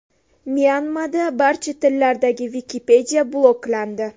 Myanmada barcha tillardagi Wikipedia bloklandi.